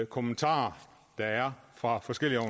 kommentarer der er fra forskellige